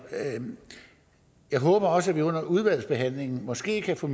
jeg håber også at vi under udvalgsbehandlingen måske kan få